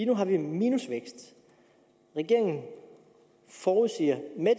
nu har vi minusvækst regeringen forudsiger med